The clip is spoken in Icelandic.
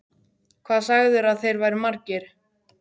Hvað sagðirðu að þeir væru margir?